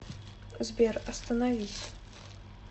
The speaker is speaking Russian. сбер остановись